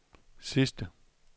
sidste